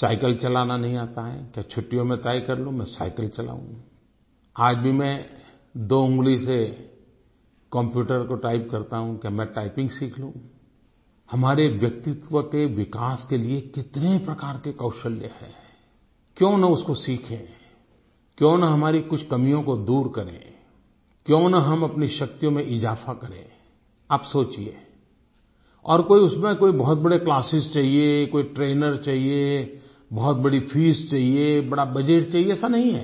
cycle चलाना नही आता है तो छुट्टियों मे तय कर लूँ मैं साईकिल चलाऊंI आज भी मैं दो उंगली से कंप्यूटर को टाइप करता हूँ तो क्या मैं टाइपिंग सीख लूँ हमारे व्यक्तित्व के विकास के लिए कितने प्रकार के कौशल है क्यों ना उसको सीखें क्यों न हमारी कुछ कमियों को दूर करें क्यों न हम अपनी शक्तियों में इजाफ़ा करेंI अब सोचिए और कोई उसमें बहुत बड़े क्लासेस चाहिए कोई ट्रेनर चाहिए बहुत बड़ी फीस चाहिए बड़ा बजेट चाहिए ऐसा नहीं है